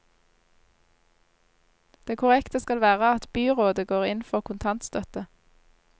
Det korrekte skal være at byrådet går inn for kontantstøtte.